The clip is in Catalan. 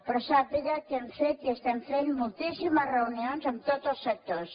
però sàpiga que hem fet i estem fent moltíssimes reunions amb tots els sectors